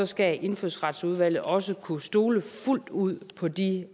skal indfødsretsudvalget også kunne stole fuldt ud på de